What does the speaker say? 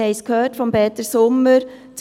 Wir haben es von Peter Sommer gehört: